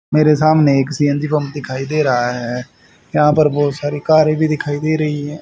मेरे सामने एक सी_एन_जी पंप दिखाई दे रहा है। यहां पर बहोत सारी कारे भी दिखाई दे रही हैं।